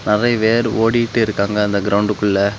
நெறய பேர் ஓடிக்கிட்டு இருக்காங்க அந்த கிரவுண்ட்குள்ள .